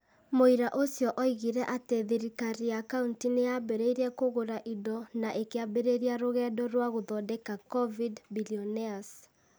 Mũira ũcio oigire atĩ thirikariya Kauntĩ nĩ yambĩrĩirie kũgũra indo na ĩkĩambĩrĩria rũgendo rwa gũthondeka 'Covid-Billionaires' ,